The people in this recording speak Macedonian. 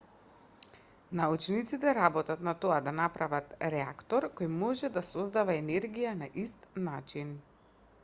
научниците работат на тоа да направат реактор кој може да создава енергија на ист начин